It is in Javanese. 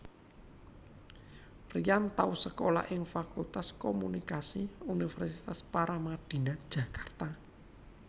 Ryan tau sekolah ing Fakultas Komunikasi Universitas Paramadina Jakarta